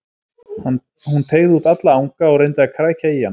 Hún teygði út alla anga og reyndi að krækja í hann.